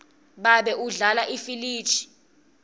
babe udlala ifiliji